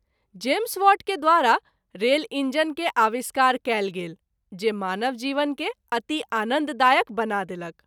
James Watt के द्वारा rail engine के आविष्कार कएल गेल जे मानव जीवन के अति आनन्द दायक बना देलक।